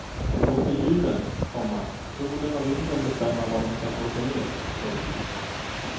Dom låter djuren, komma solen och vinden bestämma var dom ska slå sej ner. punkt